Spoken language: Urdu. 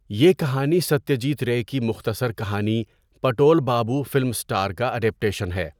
یہ کہانی ستیہ جیت رے کی مختصر کہانی 'پٹول بابو، فلم اسٹار' کا ایڈیٌپٹیشن ہے۔